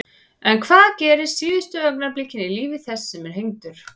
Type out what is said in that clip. En hvað gerist síðustu augnablikin í lífi þess sem er hengdur?